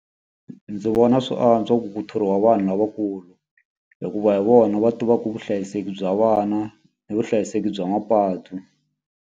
Ndzi vona swi antswa ku thoriwa vanhu lavakulu. Hikuva hi vona va tivaka vuhlayiseki bya vana ni vuhlayiseki bya mapatu.